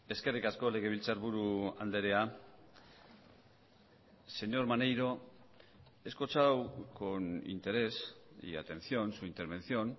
eskerrik asko legebiltzarburu andrea señor maneiro he escuchado con interés y atención su intervención